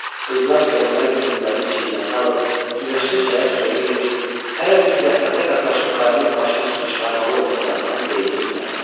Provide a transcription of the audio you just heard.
Qızlar, gəlinlər güyümlərin çiyinlərinə alıb günəşli çaya suya gedir, hələ bir zəhmətə qatlaşıb qayanın başına su çıxarmalı olduqlarından deyinirdilər də.